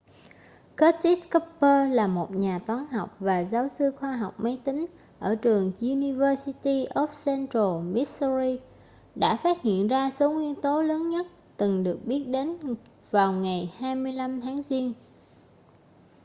curtis cooper là một nhà toán học và giáo sư khoa học máy tính ở trường university of central missouri đã phát hiện ra số nguyên tố lớn nhất từng được biết đến vào ngày 25 tháng giêng